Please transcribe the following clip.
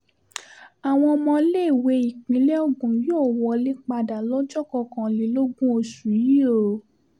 àwọn ọmọléèwé ìpínlẹ̀ ogun yóò wọlé padà lọ́jọ́ kọkànlélógún oṣù yìí o